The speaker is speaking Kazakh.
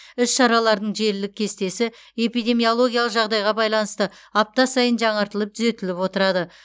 іс шаралардың желілік кестесі эпидемиологиялық жағдайға байланысты апта сайын жаңартылып түзетіліп отырады